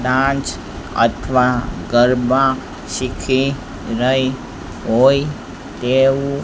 dance અથવા ગરબા શીખી રહી હોય તેવું--